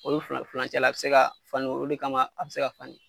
Olu filan filancɛ la a bɛ se ka falen olu de kama a bɛ se ka falen